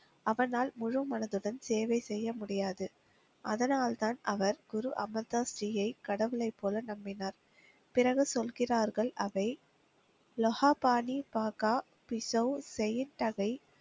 அவனால் முழு மனதுடன் சேவை செய்ய முடியாது. அதனால் தான் அவர் குரு அமர் தாஸ்ஜியை கடவுளை போல நம்பினார். பிறகு சொல்கிறார்கள் அவை லொஹா பானி பாக்கா பிசோ செய்யின் தகை.